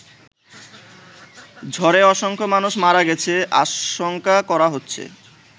ঝড়ে অসংখ্য মানুষ মারা গেছে আশংকা করা হচ্ছে।